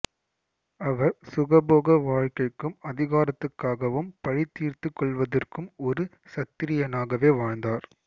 அவர் சுகபோக வாழ்க்கைக்கும் அதிகாரத்துக்காகவும் பழி தீர்த்துக் கொள்வதற்கும் ஒரு சத்திரியனாகவே வாழ்ந்தார்